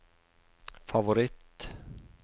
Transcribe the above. favoritt